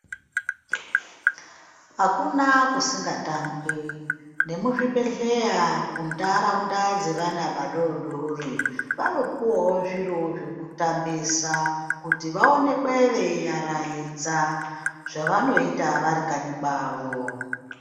Hakuna kusingatambwi nemuzvibhedhleya kuntaraunda dzevana vadodori. Vanopuvavo zviro zvekutambisa kuti vaonekwe veivaraidza zvavanoita varikanyi kwavo.